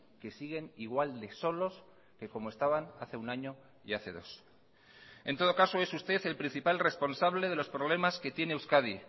que siguen igual de solos que como estaban hace un año y hace dos en todo caso es usted el principal responsable de los problemas que tiene euskadi